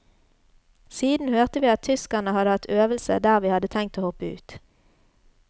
Siden hørte vi at tyskerne hadde hatt øvelse der vi hadde tenkt å hoppe ut.